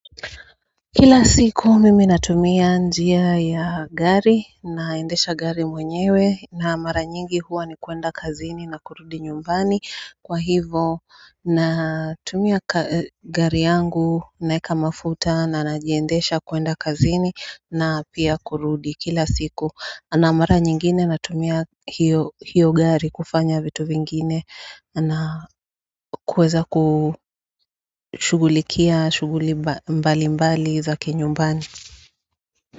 Kila siku mimi natumia njia ya gari naendesha gari mwenyewe na mara nyingi huwa ni kuenda kazini na kurudi nyumbani kwa hivo natumia gari yangu naweka mafuta na najiendesha kuenda kazini na pia kurudi kila siku na mara nyingine natumia hiyo gari kufanya vitu vingine na kuweza kushughulikia shughuli mbalimbali za kinyumbani.